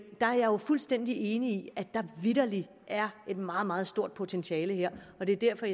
er jo fuldstændig enig i at der vitterlig er et meget meget stort potentiale her og det er derfor